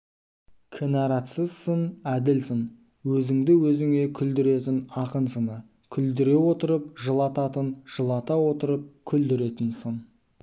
кінәратсыз сын әділ сын өзіңді өзіңе күлдіретін ақын сыны күлдіре отырып жылататын жылата отырып күлдіретін сын